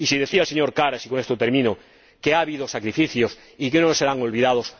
Decía el señor Karas, y con esto termino, que ha habido sacrificios y que no serán olvidados